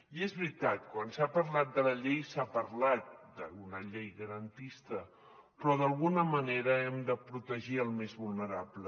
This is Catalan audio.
i és veritat quan s’ha parlat de la llei s’ha parlat d’una llei garantista però d’alguna manera hem de protegir el més vulnerable